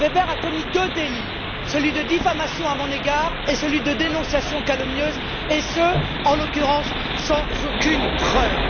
Weber a commis deux délits celui de diffamation à mon égard et celui de dénonciation calomnieuse, et ce, en l'occurrence, sans aucune preuve.